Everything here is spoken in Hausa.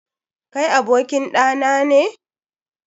Kai abokin ɗa nane?